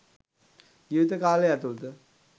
ජීවිත කාලය ඇතුලත